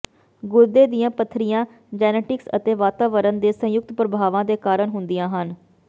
ਗੁਰਦੇ ਦੀਆਂ ਪੱਥਰੀਆਂ ਜੈਨੇਟਿਕਸ ਅਤੇ ਵਾਤਾਵਰਨ ਦੇ ਸੰਯੁਕਤ ਪ੍ਰਭਾਵਾਂ ਦੇ ਕਾਰਨ ਹੁੰਦੀਆਂ ਹਨ